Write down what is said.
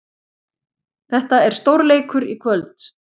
Þetta er stórleikur í kvöld.